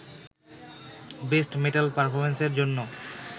best metal পারফরম্যান্সের জন্য